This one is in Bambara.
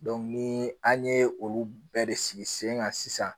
ni an ye olu bɛɛ de sigi sen kan sisan